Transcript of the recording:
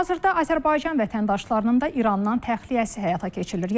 Hazırda Azərbaycan vətəndaşlarının da İrandan təxliyəsi həyata keçirilir.